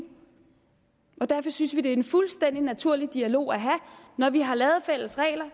derfor synes vi at det er en fuldstændig naturlig dialog at have når vi har lavet fælles regler